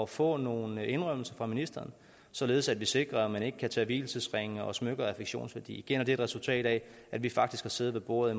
få nogle indrømmelser fra ministeren således at vi sikrer at man ikke kan tage vielsesringe og smykker af affektionsværdi igen et resultat af at vi faktisk har siddet ved bordet